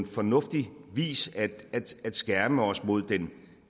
fornuftig vis at skærme os mod den